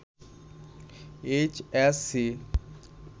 H S C